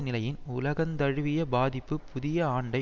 நிலையின் உலகந்தழுவிய பாதிப்பு புதிய ஆண்டை